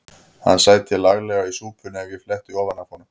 Hann sæti laglega í súpunni ef ég fletti ofan af honum.